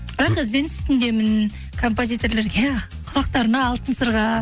бірақ ізденіс үстіндемін композитрлерге құлақтарына алтын сырға